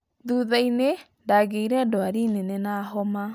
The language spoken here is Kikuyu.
Thuthainĩ ndagiire ndwari nene na homa